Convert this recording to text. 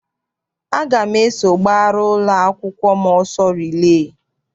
Aga m eso gbara ụlọakwụkwọ m ọsọ rilee.